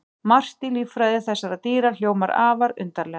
Margt í líffræði þessara dýra hljómar afar undarlega.